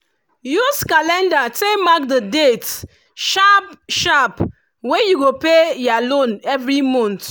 use calendar take mark the dates sharp-sharp wey you go pay ya loan every month